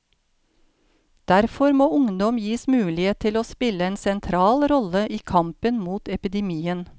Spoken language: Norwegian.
Derfor må ungdom gis mulighet til å spille en sentral rolle i kampen mot epidemien.